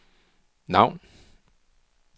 navn